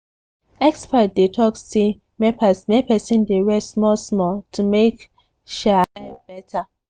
experts dey talk say make person dey rest small-small to make um life better.